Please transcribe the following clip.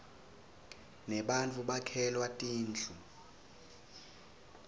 nebattfu bakhelwa tindlu